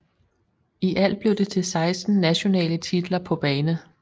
I alt blev det til 16 nationale titler på bane